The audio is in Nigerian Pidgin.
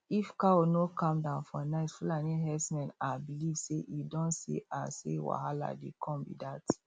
if cow no calm down for night fulani herdsmen um believe say e don see um say wahalah dey come be dat